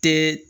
Tɛ